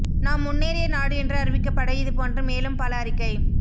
நாம் முன்னேறிய நாடு என்று அறிவிக்கப்பட இது போன்று மேலும் பல அறிக்கைக